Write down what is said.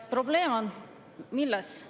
Probleem on milles?